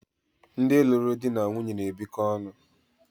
ndị lụrụ di na nwunye na-ebikọ ọnụ